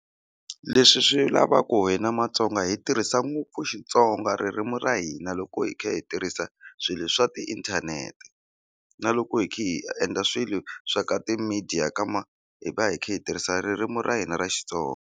Leswi swi lava ku hina Matsonga hi tirhisa ngopfu Xitsonga ririmi ra hina loko hi kha hi tirhisa swilo swa tiinthanete na loko hi kha hi endla swilo swa ka ti-media ka ma hi va hi kha hi tirhisa ririmi ra hina ra Xitsonga.